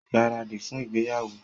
Gbáradì fún ìgbéyàwó!